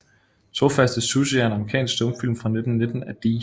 Trofaste Sussie er en amerikansk stumfilm fra 1919 af D